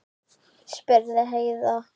spurði Heiða.